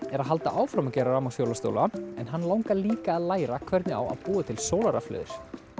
er að halda áfram að gera en hann langar líka að læra hvernig á að búa til sólarrafhlöður